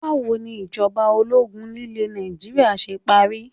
Báwo ni ìjọba ológun nílé Nàìjíríà ṣe parí?